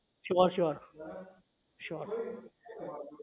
sure sure sure